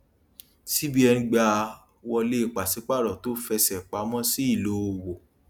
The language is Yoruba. cbn gbà wọlé paṣípààrọ tó fẹsẹ pamọ sí ìlò òwò